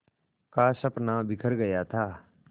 का सपना बिखर गया था